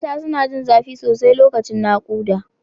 Mata suna jin zafi sosai lokacin nakuda.